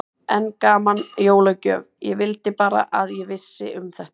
Enn gaman, jólagjöf, ég vildi bara að ég vissi um þetta.